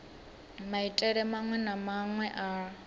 maitele maṅwe na maṅwe a